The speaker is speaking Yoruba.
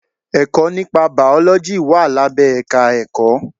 Ẹ̀kọ́ nípa bàọ́lọ́jì wà lábẹ́ èka Ẹ̀kọ́.